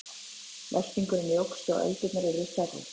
Veltingurinn jókst og öldurnar urðu stærri.